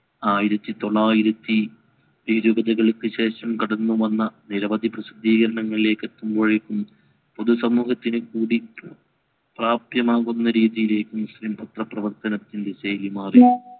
ആയിരത്തി തൊള്ളായിരത്തി ഇരുവതുകൾക്ക് ശേഷം കടന്നു വന്ന നിരവധി പ്രസിദ്ധീകരണങ്ങളിലേക്കും എത്തുമ്പോഴേക്കും പുതു സമൂഹത്തിന് കൂടി പ്രത്യമാകുന്ന രീതീലേക്ക് മുസ്ലിം പത്ര പ്രവർത്തന വിജയികമാറി